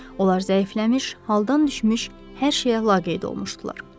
Onlar zəifləmiş, haldan düşmüş, hər şeyə laqeyd olmuşdular.